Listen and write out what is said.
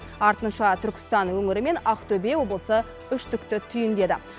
артынша түркістан өңірі мен ақтөбе облысы үштікті түйіндеді